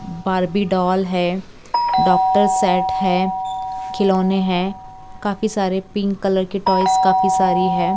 Barbie doll है doctor set है खिलौने है काफी सारे पिंक कलर के टॉयज काफी सारी है।